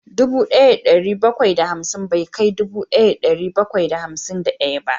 Dubu daya da dari bakwai da hamsin bai kai dubu daya da dari bakwai da hamsin da daya ba